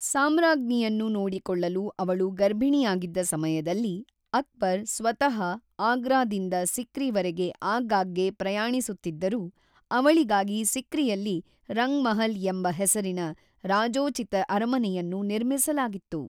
ಸಾಮ್ರಾಜ್ಞಿಯನ್ನು ನೋಡಿಕೊಳ್ಳಲು ಅವಳು ಗರ್ಭಿಣಿಯಾಗಿದ್ದ ಸಮಯದಲ್ಲಿ, ಅಕ್ಬರ್ ಸ್ವತಃ ಆಗ್ರಾದಿಂದ ಸಿಕ್ರಿ ವರೆಗೆ ಆಗಾಗ್ಗೆ ಪ್ರಯಾಣಿಸುತ್ತಿದ್ದರು, ಅವಳಿಗಾಗಿ ಸಿಕ್ರಿಯಲ್ಲಿ ರಂಗ್ ಮಹಲ್ ಎಂಬ ಹೆಸರಿನ ರಾಜೋಚಿತ ಅರಮನೆಯನ್ನು ನಿರ್ಮಿಸಲಾಗಿತ್ತು.